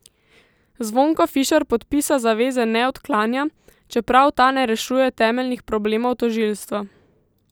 Zvonko Fišer podpisa zaveze ne odklanja, čeprav ta ne rešuje temeljnih problemov tožilstva.